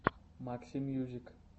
максимьюзик